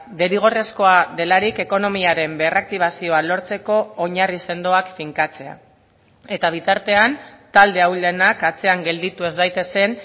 derrigorrezkoa delarik ekonomiaren berraktibazioa lortzeko oinarri sendoak finkatzea eta bitartean talde ahulenak atzean gelditu ez daitezen